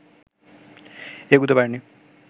এগুতে পারেনি